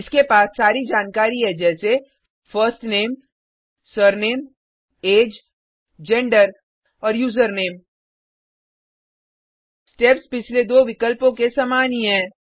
इसके पास सारी जानकारी है जैसे first name surname age gender और यूजरनेम स्टेप्स पिछले दो विकल्पों के समान ही हैं